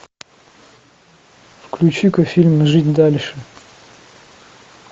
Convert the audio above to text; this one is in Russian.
включи ка фильм жить дальше